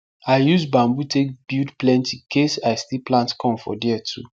i use bamboo take build plenty case i still plant corn for there too